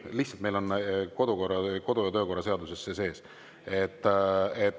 Ei, meil on kodu‑ ja töökorra seaduses see sees.